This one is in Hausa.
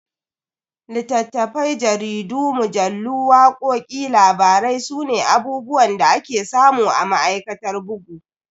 Littafai, jaridu, mujallu, wakoki, labarai sune abubuwan da ake samu a ma'aikatar bugu.